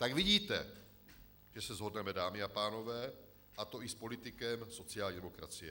Tak vidíte, že se shodneme, dámy a pánové, a to i s politikem sociální demokracie.